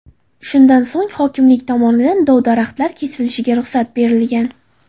Shundan so‘ng hokimlik tomonidan dov-daraxtlar kesilishiga ruxsat berilgan.